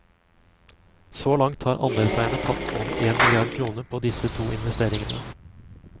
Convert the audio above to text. Så langt har andelseierne tapt over en milliard kroner på disse to investeringene.